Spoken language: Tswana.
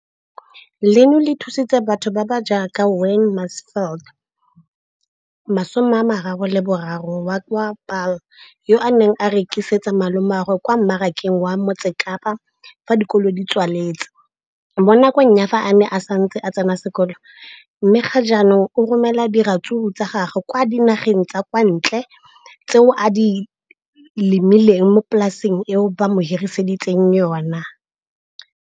Leno le thusitse batho ba ba jaaka Wayne Mansfield, 33, wa kwa Paarl, yo a neng a rekisetsa malomagwe kwa Marakeng wa Motsekapa fa dikolo di tswaletse, mo nakong ya fa a ne a santse a tsena sekolo, mme ga jaanong o romela diratsuru tsa gagwe kwa dinageng tsa kwa ntle tseo a di lemileng mo polaseng eo ba mo hiriseditseng yona.